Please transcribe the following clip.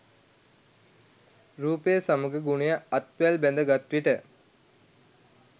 රූපය සමඟ ගුණය අත්වැල් බැඳ ගත් විට